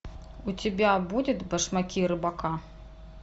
у тебя будет башмаки рыбака